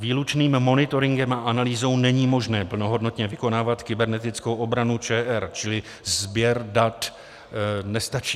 Výlučným monitoringem a analýzou není možné plnohodnotně vykonávat kybernetickou obranu ČR, čili sběr dat nestačí.